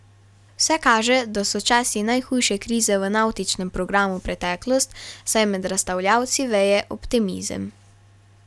Vse kaže, da so časi najhujše krize v navtičnem programu preteklost, saj med razstavljavci veje optimizem.